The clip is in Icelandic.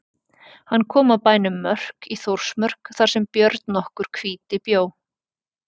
Hann kom að bænum Mörk í Þórsmörk þar sem Björn nokkur hvíti bjó.